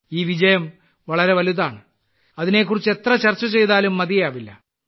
ഈ വിജയം വളരെ വലുതാണ് അതിനെക്കുറിച്ച് എത്ര ചർച്ച ചെയ്താലും മതിയാവില്ല